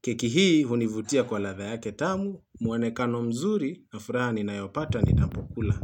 Keki hii hunivutia kwa ladha yake tamu, muonekano mzuri na furaha ninayopata ninapokula.